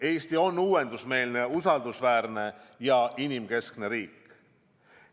Eesti on uuendusmeelne, usaldusväärne ja inimkeskne riik.